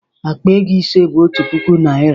Akpa ego ise bụ otu puku naịra.